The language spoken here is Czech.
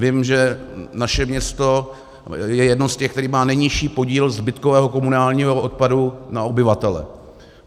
Vím, že naše město je jedno z těch, které má nejnižší podíl zbytkového komunálního odpadu na obyvatele.